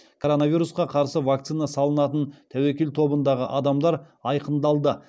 коронавирусқа қарсы вакцина салынатын тәуекел тобындағы адамдар айқындалды